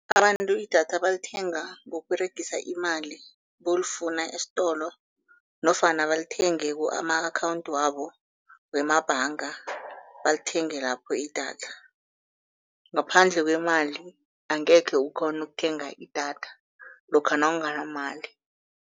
Abantu idatha balithenga ngokUberegisa imali, bolifuna esitolo nofana balithenge ama-akhawundi wabo wemabhanga, balithenge lapho idatha. Ngaphandle kwemali angekhe ukghone ukuthenga idatha lokha nawunganamali.